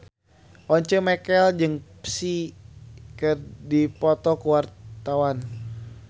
Once Mekel jeung Psy keur dipoto ku wartawan